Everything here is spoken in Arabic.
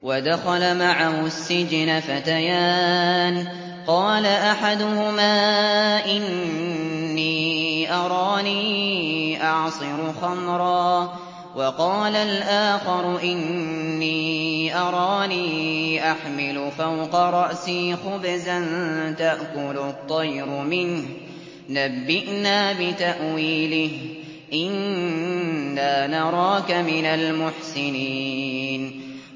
وَدَخَلَ مَعَهُ السِّجْنَ فَتَيَانِ ۖ قَالَ أَحَدُهُمَا إِنِّي أَرَانِي أَعْصِرُ خَمْرًا ۖ وَقَالَ الْآخَرُ إِنِّي أَرَانِي أَحْمِلُ فَوْقَ رَأْسِي خُبْزًا تَأْكُلُ الطَّيْرُ مِنْهُ ۖ نَبِّئْنَا بِتَأْوِيلِهِ ۖ إِنَّا نَرَاكَ مِنَ الْمُحْسِنِينَ